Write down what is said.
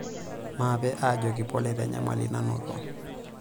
Maape aajoki pole tenyamali nanoto.